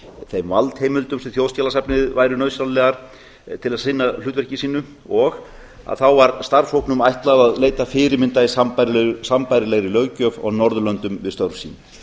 þeim valdheimildum sem þjóðskjalasafni væru nauðsynlegar til að sinna hlutverki sínu og þá var starfshópnum ætlað að leita fyrirmynda í sambærilegri löggjöf og á norðurlöndum við störf sín